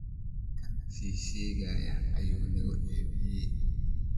Kaan shisheyaha ayu nakuceybeye.